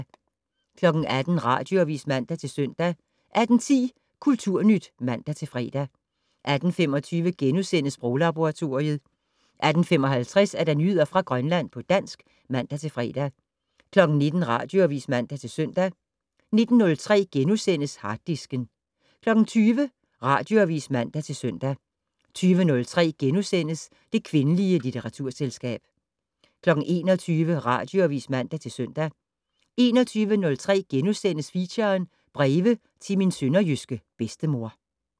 18:00: Radioavis (man-søn) 18:10: Kulturnyt (man-fre) 18:25: Sproglaboratoriet * 18:55: Nyheder fra Grønland på dansk (man-fre) 19:00: Radioavis (man-søn) 19:03: Harddisken * 20:00: Radioavis (man-søn) 20:03: Det kvindelige litteraturselskab * 21:00: Radioavis (man-søn) 21:03: Feature: Breve til min sønderjyske bedstemor *